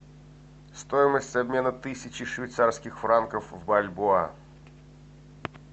стоимость обмена тысячи швейцарских франков в бальбоа